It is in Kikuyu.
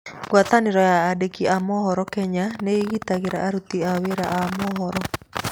Ngwatanĩro ya andiki a mohoro ya Kenya nĩ ĩgitagĩra aruti wĩra a mohoro.